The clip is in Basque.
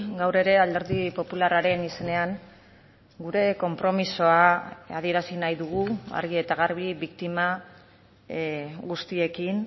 gaur ere alderdi popularraren izenean gure konpromisoa adierazi nahi dugu argi eta garbi biktima guztiekin